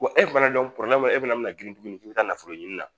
e fana e fana bina girin k'i bi taa nafolo ɲini na